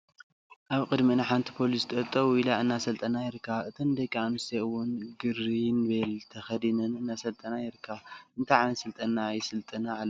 ኣብ ቅዲምእን ሓንቲ ፖሊስ ኣብቅድሚኤን ደው ኢላ እናሰልጠና ይርከባ ።እተን ደቂ ኣንስትዮ እውት ግሪንቤለ ተከዲነን እናሰልጠና ይርከባ። እንታይዓይነት ስልጠና ይስልጥና ኣለዋ?